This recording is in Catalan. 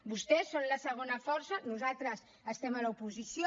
vostès són la segona força nosaltres estem a l’oposició